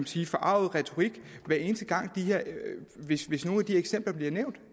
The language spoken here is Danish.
sige forarget retorik hvis hvis nogen af de eksempler bliver nævnt